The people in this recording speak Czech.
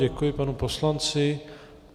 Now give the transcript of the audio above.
Děkuji panu poslanci.